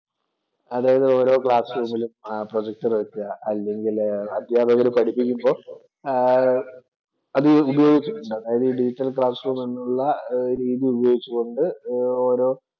അതായത് ഓരോ ക്ലാസ്സ്‌ റൂമിലും പ്രൊജക്ടര്‍ വെക്കുക അല്ലെങ്കില് അധ്യാപകര് പഠിപ്പിക്കുമ്പോ ആഹ് അത് ഉപയോഗിച്ചുകൊണ്ട് അതായത് ഡിജിറ്റല്‍ ക്ലാസ് റൂം എന്നുള്ള രീതി ഉപയോഗിച്ച് കൊണ്ട് ഓരോ